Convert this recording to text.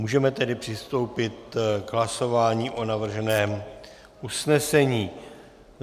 Můžeme tedy přistoupit k hlasování o navrženém usnesení.